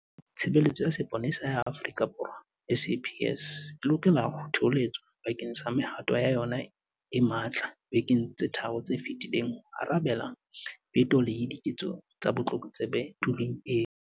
Tshebeletso ya Sepolesa ya Afrika Borwa, SAPS, e lokela ho thoholetswa bakeng sa mehato ya yona e matla dibekeng tse tharo tse fetileng ho arabela petong le diketsong tsa botlokotsebe tulong eo.